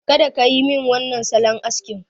Kada kayi min wannan salon askin!